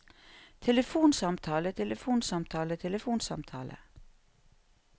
telefonsamtale telefonsamtale telefonsamtale